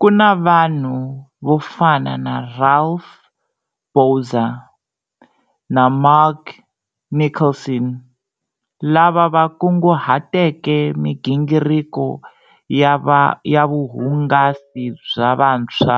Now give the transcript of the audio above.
Ku na vanhu vo fana na Ralph Bouwers na Mark Nicholson, lava va kunguhateke migingiriko ya vuhungasi bya vantshwa